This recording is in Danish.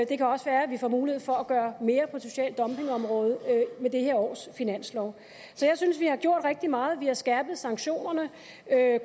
det kan også være at vi får mulighed for at gøre mere på social dumping området med det her års finanslov så jeg synes vi har gjort rigtig meget vi har skærpet sanktionerne